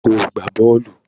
Óò gbá bọ́ọ̀lù!